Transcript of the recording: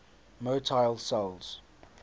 motile cells